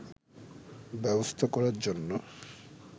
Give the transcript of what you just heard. ব্যবস্থা করার জন্য